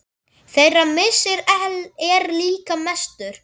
Þeirra missir er líka mestur.